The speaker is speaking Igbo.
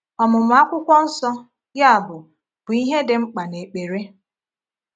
Ọmụmụ Akwụkwọ Nsọ, yabụ, bụ ihe dị mkpa n’ekpere.